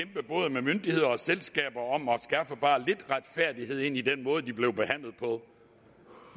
med myndigheder og selskaber om at skaffe bare lidt retfærdighed i den måde de blev behandlet på